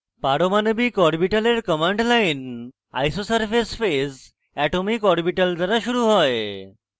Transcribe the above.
পারমাণবিক orbitals command line isosurface phase atomic orbital দ্বারা শুরু হয়